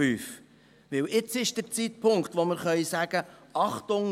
Denn jetzt ist der Zeitpunkt, wo wir sagen können: